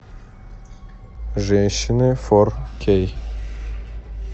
женщины фор кей